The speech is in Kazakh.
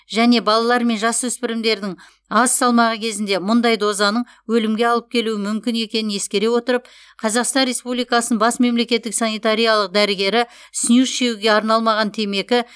және балалар мен жасөспірімдердің аз салмағы кезінде мұндай дозаның өлімге алып келуі мүмкін екенін ескере отырып қазақстан республикасының бас мемлекеттік санитариялық дәрігері снюс шегуге арналмаған темекі